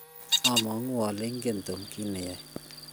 abwatii ale ingen Tom kito neyoe.